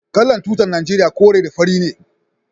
Kalan tutan nageriya kore da fari ne.